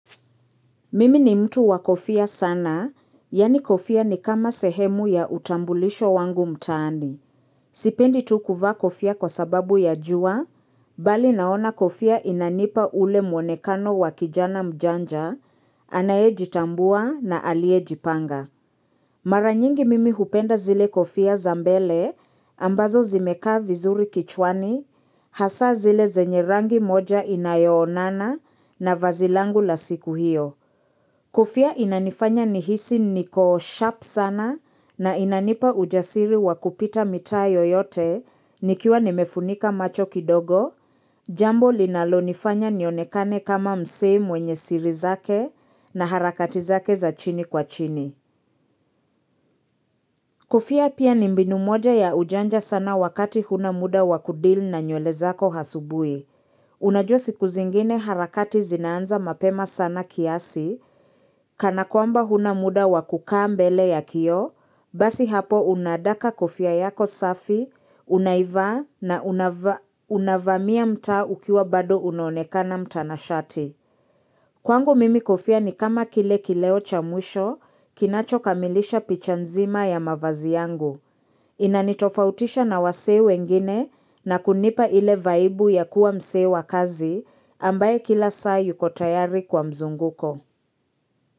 Mimi ni mtu wa kofia sana, yani kofia ni kama sehemu ya utambulisho wangu mtaani. Sipendi tu kuvaa kofia kwa sababu ya jua, bali naona kofia inanipa ule mwonekano wa kijana mjanja, anayejitambua na aliyejipanga. Maranyingi mimi hupenda zile kofia zambele, ambazo zimeka vizuri kichwani, hasa zile zenye rangi moja inayo onana na vazi langu la siku hiyo. Kofia inanifanya nihisi niko sharp sana na inanipa ujasiri wakupita mitaa yoyote nikiwa nimefunika macho kidogo, jambo linalo nifanya nionekane kama msee mwenye siri zake na harakati zake za chini kwa chini. Kofia pia ni mbinu moja ya ujanja sana wakati hunamuda wakudeal na nywele zako hasubuhi. Unajua siku zingine harakati zinaanza mapema sana kiasi, kana kwamba hunamuda wakukaa mbele ya kioo, basi hapo unadaka kofia yako safi, unaivaa na unavamia mtaa ukiwa bado unonekana mtanashati. Kwangu mimi kofia ni kama kile kileo cha mwisho, kinacho kamilisha picha nzima ya mavazi yangu. Inanitofautisha na wasee wengine na kunipa ile vaibu ya kuwa msee wa kazi ambaye kila saa yuko tayari kwa mzunguko.